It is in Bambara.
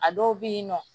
A dɔw bɛ yen nɔ